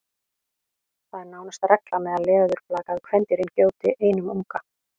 það er nánast regla meðal leðurblaka að kvendýrin gjóti einum unga